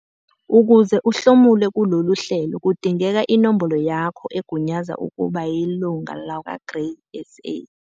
Ukuze uhlomule kulolu hlelo kudingeka inombolo yakho egunyaza ukuba yilunga lakwaGrain SA.